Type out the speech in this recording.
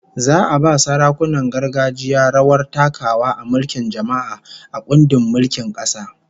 Za'a ba sarakunan gargajiya rawar takawa a mulkin jama'a, a kundin mulkin kasa